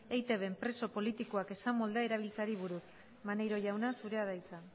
eitbn preso politikoak esamoldea erabiltzeari buruz maneiro jauna zurea da hitza